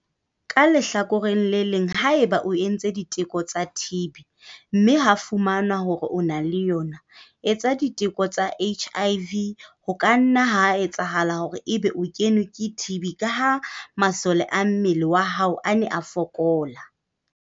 Ka lehlakoreng le leng, haeba o entse diteko tsa TB, mme ha fumanwa hore o na le yona, etsa diteko tsa HIV ho ka nna ha etsahala hore ebe o kenwe ke TB ka ha masole a mmele wa hao a ne a fokola.